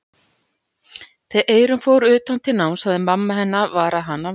Þegar Eyrún fór utan til náms hafði mamma hennar varað hana við.